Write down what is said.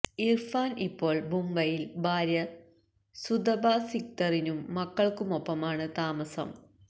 ഇര്ഫാന് ഇപ്പോള് മുംബൈയില് ഭാര്യ സുതപ സിക്ദറിനും മക്കള്ക്കുമൊപ്പമാണ് താമസ